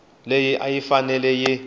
leyi a yi fanele yi